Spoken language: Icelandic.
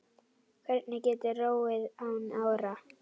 Hver getur róið án ára?